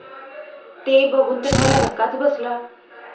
ते बघून तर मला धक्काच बसला.